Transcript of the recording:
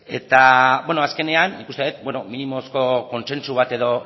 azkenean nik uste dut minimozko kontsentsu bat